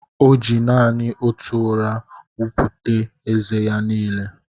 O ji nanị otù ụrà wọpụta ézé ya n'ile